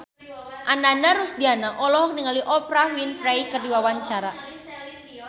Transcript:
Ananda Rusdiana olohok ningali Oprah Winfrey keur diwawancara